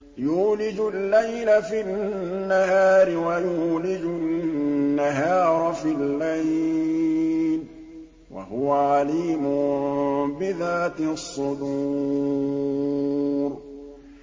يُولِجُ اللَّيْلَ فِي النَّهَارِ وَيُولِجُ النَّهَارَ فِي اللَّيْلِ ۚ وَهُوَ عَلِيمٌ بِذَاتِ الصُّدُورِ